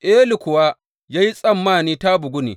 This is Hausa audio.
Eli kuwa ya yi tsammani ta bugu ne.